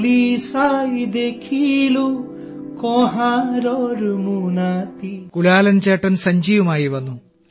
കുലാലൻ ചേട്ടൻ സഞ്ചിയുമായി വന്നു